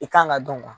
I kan ka dɔn ka